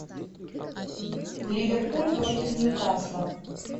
ливерпуль против ньюкасла